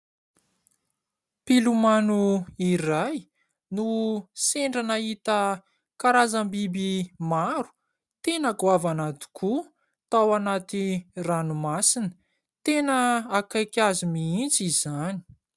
Mpilomano iray no sendra nahita karazam-biby maro tena goavana tokoa tao anaty ranomasina. Tena akaiky azy mihitsy izany.